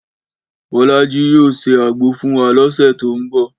Bọ́lájí yóò se àgbo fún wa lọ́sẹ̀ tó ń bọ̀